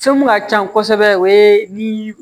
Fɛn mun ka can kosɛbɛ o ye ni